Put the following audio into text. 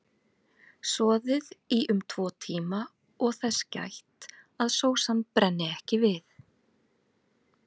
Soðið í um tvo tíma og þess gætt að sósan brenni ekki við.